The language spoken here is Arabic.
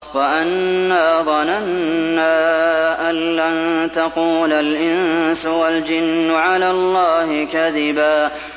وَأَنَّا ظَنَنَّا أَن لَّن تَقُولَ الْإِنسُ وَالْجِنُّ عَلَى اللَّهِ كَذِبًا